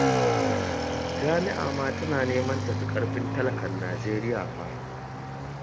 Jami'a ma tana neman ta fi ƙarfin talakan Najeriya fa